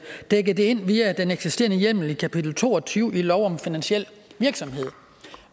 dække det ind via den eksisterende hjemmel i kapitel to og tyve i lov om finansiel virksomhed